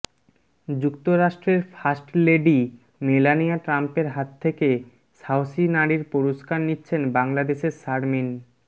যুক্তরাষ্ট্রের first lady Melania ট্রাম্পের হাত থেকে সাহসী নারীর পুরস্কার নিচ্ছেন বাংলাদেশের শারমিন